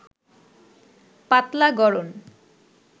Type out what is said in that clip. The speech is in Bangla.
পাতলা গড়ন